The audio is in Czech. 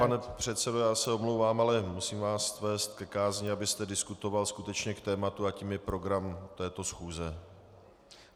Pane předsedo, já se omlouvám, ale musím vás vést ke kázni, abyste diskutoval skutečně k tématu a tím je program této schůze.